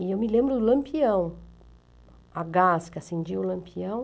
E eu me lembro do Lampião, a gás que acendia o Lampião.